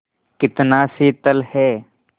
कितना शीतल है